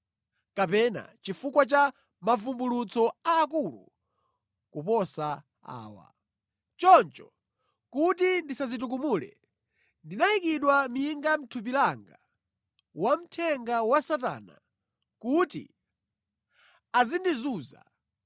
kapena chifukwa cha mavumbulutso aakulu kuposa awa. Choncho, kuti ndisadzitukumule, ndinayikidwa minga mʼthupi langa, wamthenga wa Satana, kuti adzindizunza.